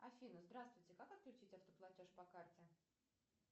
афина здравствуйте как отключить автоплатеж по карте